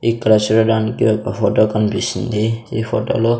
ఇక్కడ చూడడానికి ఒక ఫోటో కనిపిస్తుంది ఈ ఫోటోలో --